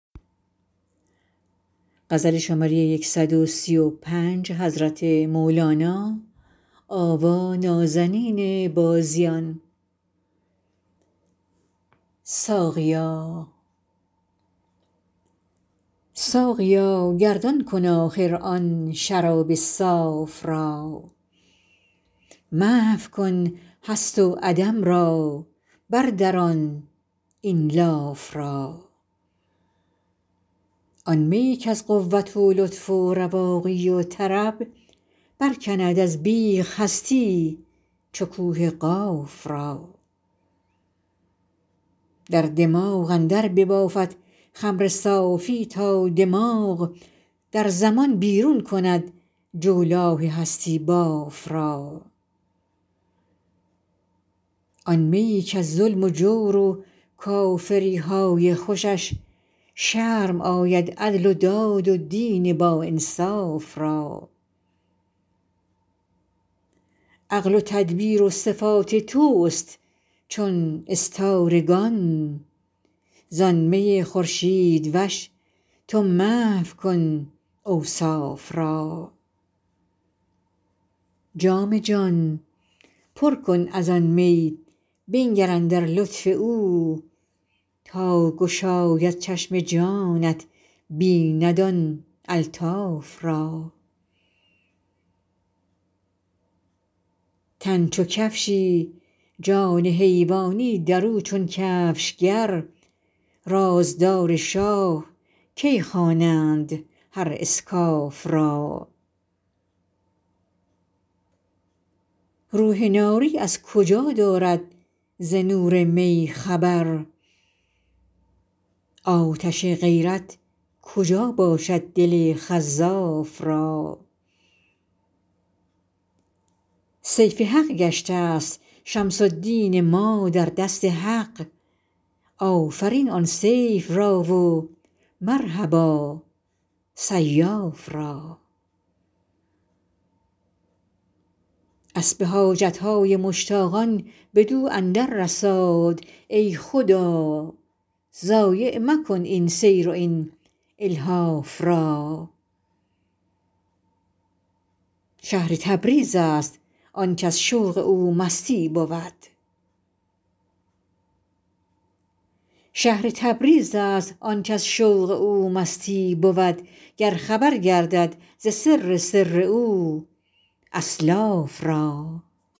ساقیا گردان کن آخر آن شراب صاف را محو کن هست و عدم را بردران این لاف را آن میی کز قوت و لطف و رواقی و طرب برکند از بیخ هستی چو کوه قاف را در دماغ اندر ببافد خمر صافی تا دماغ در زمان بیرون کند جولاه هستی باف را آن میی کز ظلم و جور و کافری های خوشش شرم آید عدل و داد و دین باانصاف را عقل و تدبیر و صفات تست چون استارگان زان می خورشیدوش تو محو کن اوصاف را جام جان پر کن از آن می بنگر اندر لطف او تا گشاید چشم جانت بیند آن الطاف را تن چو کفشی جان حیوانی در او چون کفشگر رازدار شاه کی خوانند هر اسکاف را روح ناری از کجا دارد ز نور می خبر آتش غیرت کجا باشد دل خزاف را سیف حق گشتست شمس الدین ما در دست حق آفرین آن سیف را و مرحبا سیاف را اسب حاجت های مشتاقان بدو اندر رساد ای خدا ضایع مکن این سیر و این الحاف را شهر تبریزست آنک از شوق او مستی بود گر خبر گردد ز سر سر او اسلاف را